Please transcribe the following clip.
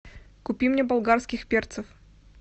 купи мне болгарских перцев